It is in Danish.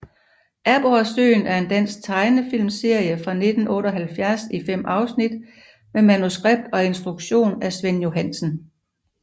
Aborresøen er en dansk tegnefilmserie fra 1978 i fem afsnit med manuskript og instruktion af Svend Johansen